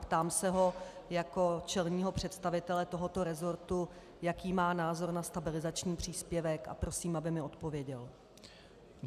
Ptám se ho jako čelného představitele tohoto resortu, jaký má názor na stabilizační příspěvek, a prosím, aby mi odpověděl.